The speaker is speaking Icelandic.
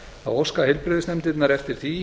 óska heilbrigðisnefndirnar eftir því